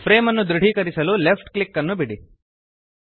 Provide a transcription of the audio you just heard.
frame ಅನ್ನು ದೃಢೀಕರಿಸಲು left click ನ್ನು ಬಿಡಿ